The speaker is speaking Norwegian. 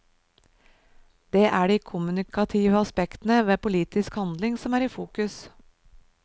Det er de kommunikative aspektene ved politisk handling som er i fokus.